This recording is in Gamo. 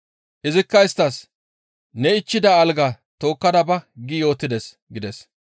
Izikka isttas, « ‹Ne ichchida algaa tookkada ba› gi yootides» gides.